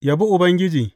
Yabi Ubangiji.